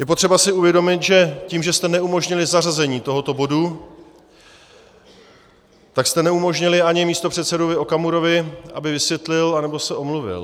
Je potřeba si uvědomit, že tím, že jste neumožnili zařazení tohoto bodu, tak jste neumožnili ani místopředsedovi Okamurovi, aby vysvětlil anebo se omluvil.